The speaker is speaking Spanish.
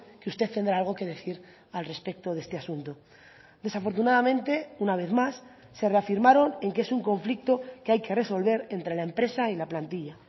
que usted tendrá algo que decir al respecto de este asunto desafortunadamente una vez más se reafirmaron en que es un conflicto que hay que resolver entre la empresa y la plantilla